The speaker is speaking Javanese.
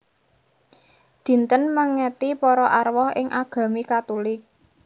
Dinten mèngeti para arwah ing agami Katulik